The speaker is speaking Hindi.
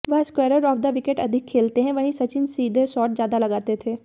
वह स्क्वेअर ऑफ द विकेट अधिक खेलते हैं वहीं सचिन सीधे शॉट ज्यादा लगाते थे